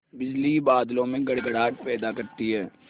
बिजली ही बादलों में गड़गड़ाहट पैदा करती है